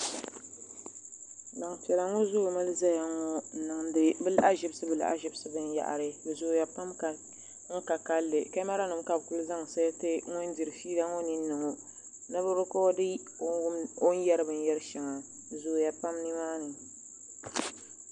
Gbampiɛla ŋɔ zoomi zaya ŋɔ n diŋdi bɛ lahazibsi lahazibsi binyabari bɛ zooya pam ka kalli kamara nima ka bɛ kuli zaŋ sɛɛti ŋun diri fiila ŋɔ ninni ŋɔ ni bɛ rikɔɔdi o ni o ni yeri binyeri sheŋa bɛ zooya pam nimaani.